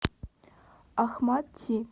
ахмад ти